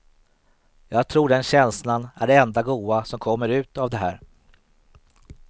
Jag tror den känslan är det enda goda som kommer ut av det här.